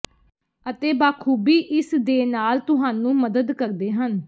ਅਤੇ ਬਾਖੂਬੀ ਇਸ ਦੇ ਨਾਲ ਤੁਹਾਨੂੰ ਮਦਦ ਕਰਦੇ ਹਨ